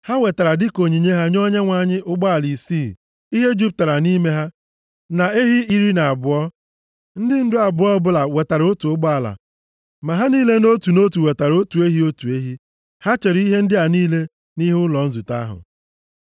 Ha wetara dịka onyinye ha nye Onyenwe anyị ụgbọala isii ihe juputara nʼime ha, na ehi iri na abụọ. Ndị ndu abụọ ọbụla wetara otu ụgbọala, ma ha niile nʼotu na otu wetara otu ehi, otu ehi. Ha chere ihe ndị a niile nʼihu ụlọ nzute ahụ.